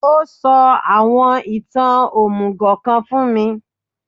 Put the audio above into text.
Ó sọ àwọn ìtàn òmùgò kan fún mi